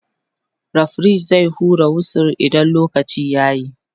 referee zai hura wisu idan lokaci yayi